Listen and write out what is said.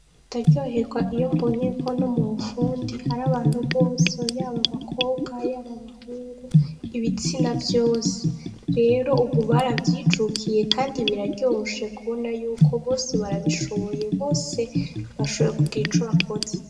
Ndaryoherwa iyo mbonye ko no bufundi hari abantu bose yaba abakobwa yaba abahungu, ibitsina vyose. Rero ubu baravyijukiye kandi biraryoshe kubona yuko bose barabishoboye bose bashoboye kugira ico bikoze.